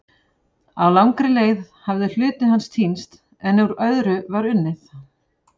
Á langri leið hafði hluti hans týnst en úr öðru var unnið.